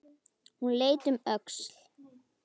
Hún leit um öxl.